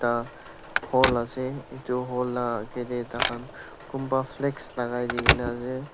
ta hall ase etu hall la agi te tai khan kumba flags lagai di kene ase.